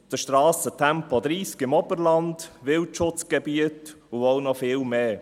Auf den Strassen Tempo 30 im Oberland, Wildschutzgebiete und vieles mehr.